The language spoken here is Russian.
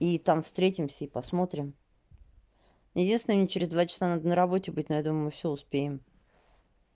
и там встретимся и посмотрим единственное мне через два часа надо на работе быть но я думаю мы всё успеем